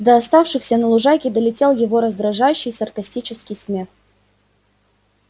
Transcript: до оставшихся на лужайке долетел его раздражающе саркастический смех